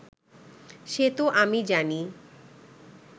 সে তো আমি জানি